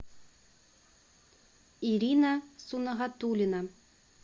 ирина сунагатуллина